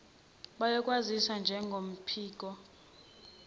bayokwaziwa njengophiko lokuhlolwa